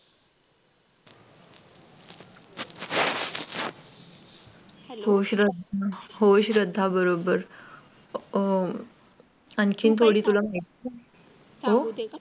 होय श्रद्धा बरोबर आणखीन